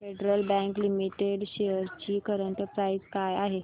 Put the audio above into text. federal Bank Limited shares ची current price काय आहे